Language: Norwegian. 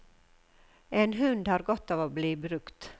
En hund har godt av å bli brukt.